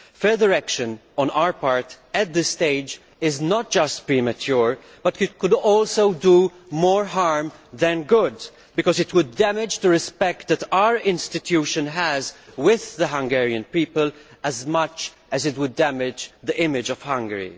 Further action on our part at this stage is not just premature, but could also do more harm than good because it would damage the respect that our institution enjoys with the Hungarian people as much as it would damage the image of Hungary.